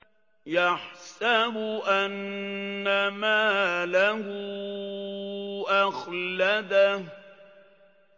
يَحْسَبُ أَنَّ مَالَهُ أَخْلَدَهُ